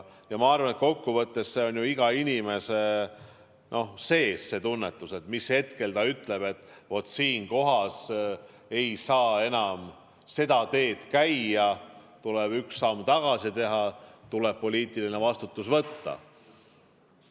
Ma arvan, et kokkuvõttes on ju iga inimese sees see tunnetus, mis hetkel ta ütleb, et ei saa enam seda teed käia, tuleb üks samm tagasi teha, tuleb poliitiline vastutus võtta.